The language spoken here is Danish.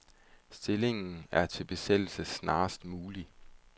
Stillingen er til besættelse snarest muligt.